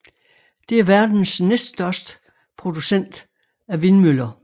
Det er verdens næststørste producent af vindmøller